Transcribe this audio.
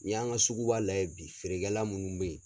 N'i y'an ka sugu ba lajɛ bi feerekɛla munnu bɛ ye.